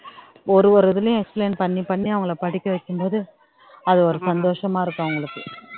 ஒரு ஒரு இதுலயும் explain பண்ணி பண்ணி அவங்களை படிக்க வைக்கும்போது அது ஒரு சந்தோஷமா இருக்கும் அவங்களுக்கு